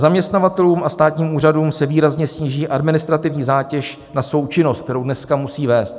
Zaměstnavatelům a státním úřadům se výrazně sníží administrativní zátěž na součinnost, kterou dneska musí vést.